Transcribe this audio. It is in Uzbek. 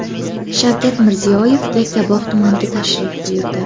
Shavkat Mirziyoyev Yakkabog‘ tumaniga tashrif buyurdi.